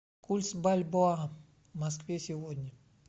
курс бальбоа в москве сегодня